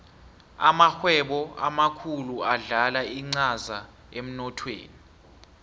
amarhwebo amakhulu adlala incaza emnothweni